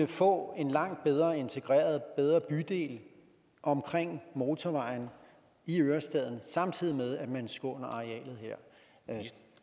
få en langt bedre integreret bydel omkring motorvejen i ørestaden samtidig med at man skånede arealet her